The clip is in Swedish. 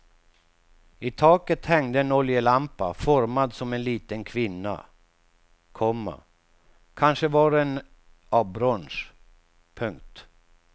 I taket hängde en oljelampa formad som en liten kvinna, komma kanske var den av brons. punkt